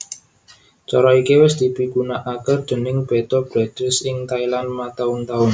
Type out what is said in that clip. Cara iki wis dipigunakaké déning Betta Breeders ing Thailand mataun taun